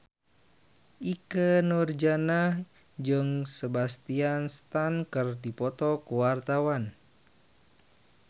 Ikke Nurjanah jeung Sebastian Stan keur dipoto ku wartawan